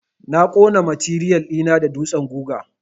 Na ƙona matiriyal ɗi na da dutsen guga.